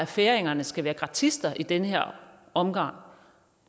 færingerne skal være gratister i den her omgang